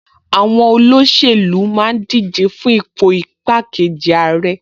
Àwọn olóṣèlú máa ń díje fún ipò igbákejì ààrẹ